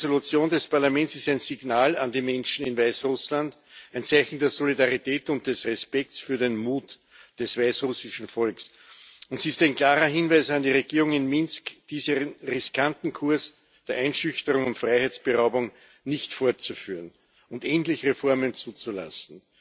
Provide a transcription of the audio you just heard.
Diese Entschließung des Parlaments ist ein Signal an die Menschen in Weißrussland, ein Zeichen der Solidarität und des Respekts für den Mut des weißrussischen Volks, und sie ist ein klarer Hinweis an die Regierung in Minsk, diesen riskanten Kurs der Einschüchterung und Freiheitsberaubung nicht fortzuführen und endlich Reformen zuzulassen.